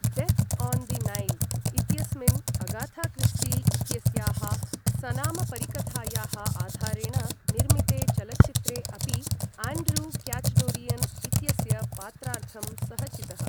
Death on the Nile इत्यस्मिन् Agatha Christie इत्यस्याः सनामपरिकथायाः आधारेण निर्मिते चलच्चित्रे अपि, आण्ड्रू क्याचडोरियन् इत्यस्य पात्रार्थं सः चितः।